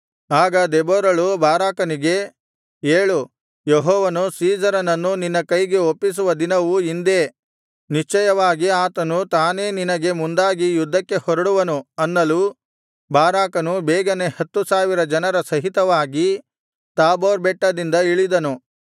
ಆಗ ದೆಬೋರಳು ಬಾರಾಕನಿಗೆ ಏಳು ಯೆಹೋವನು ಸೀಸೆರನನ್ನು ನಿನ್ನ ಕೈಗೆ ಒಪ್ಪಿಸುವ ದಿನವು ಇಂದೇ ನಿಶ್ಚಯವಾಗಿ ಆತನು ತಾನೇ ನಿನಗೆ ಮುಂದಾಗಿ ಯುದ್ಧಕ್ಕೆ ಹೊರಡುವನು ಅನ್ನಲು ಬಾರಾಕನು ಬೇಗನೆ ಹತ್ತು ಸಾವಿರ ಜನರ ಸಹಿತವಾಗಿ ತಾಬೋರ್ ಬೆಟ್ಟದಿಂದ ಇಳಿದನು